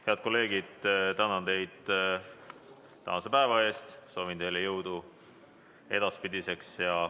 Head kolleegid, tänan teid tänase päeva eest ja soovin teile jõudu edaspidiseks.